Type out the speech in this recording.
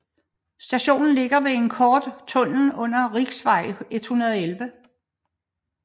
Stationen ligger ved en kort tunnel under Riksvei 111